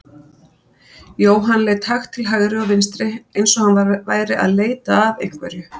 Jóhann leit hægt til hægri og vinstri eins og hann væri að leita að einhverju.